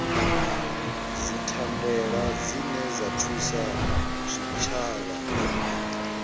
dzithandela dzine dza thusa zwitshavha